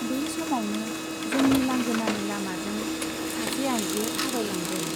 बे समावनो जोंनि लांगोनानि लामाजों सासे आइजो थाबायलांदों।